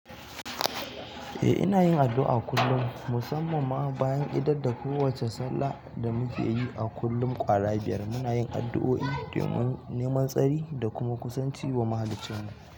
Eh, ina yin addu'a kullum, musamman ma bayan idar da kowace sallah da muke yi a kullum ƙwara biyar. Muna yin addu'o'i domin neman tsari da kuma kusanci wa muhaliccinmu.